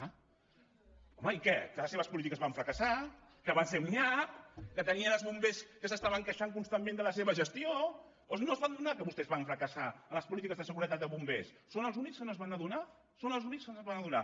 home i què que les polítiques van fracassar que van ser un nyap que tenien els bombers que es queixaven constantment de la seva gestió o no se’n van adonar que vostès van fracassar en les polítiques de seguretat de bombers són els únics que no se’n van adonar són els únics que no se’n van adonar